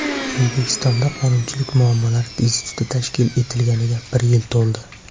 O‘zbekistonda Qonunchilik muammolari instituti tashkil etilganiga bir yil to‘ldi.